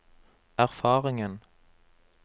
erfaringen